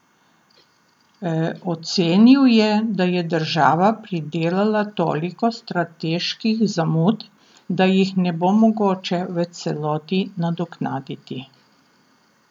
Ocenil je, da je država pridelala toliko strateških zamud, da jih ne bo mogoče v celoti nadoknaditi.